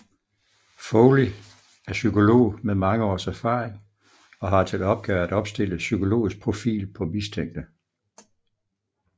Foley er psykolog med mange års erfaring og har til opgave at opstille psykologisk profil på mistænkte